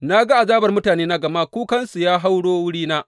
Na ga azabar mutanena gama kukansu ya hauro wurina.